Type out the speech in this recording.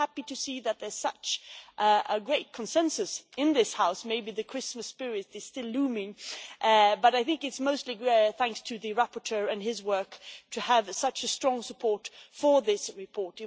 I am happy to see that there is such a great consensus in this House maybe the Christmas spirit is still looming but I think it is mostly thanks to the rapporteur and his work that we have such strong support for this report.